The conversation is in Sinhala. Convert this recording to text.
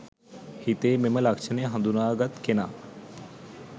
හිතේ මෙම ලක්ෂණය හඳුනාගත් කෙනා